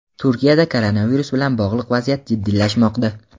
Turkiyada koronavirus bilan bog‘liq vaziyat jiddiylashmoqda.